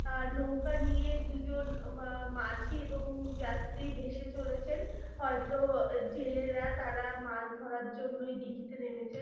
আর নৌকা নিয়ে দুজন উম মা মাঝি এবং যাত্রী ভেসে চলেছেন হয়তো জেলেরা তারা মাছ ধরার জন্যই দীঘিতে নেমেছে--